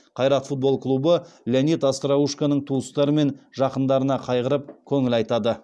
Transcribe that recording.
қайрат футбол клубы леонид остроушконың туыстары мен жақындарына қайғырып көңіл айтады